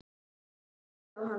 Fólkið horfði á hann.